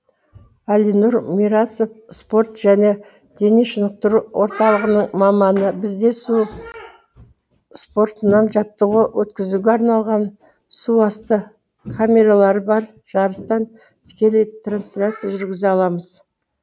әлинұр мирасов спорт және дене шынықтыру орталығының маманы бізде су спортынан жаттығу өткізуге арналған суасты камералары бар жарыстан тікелей трансляция жүргізе аламыз